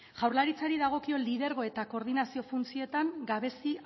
jaurlaritzari dagokio lidergo eta koordinazio funtzioetan gabezi